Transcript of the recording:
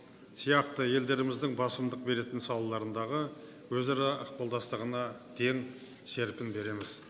сияқты елдеріміздің басымдық беретін салаларындағы өзара ықпалдастығына дем серпін береміз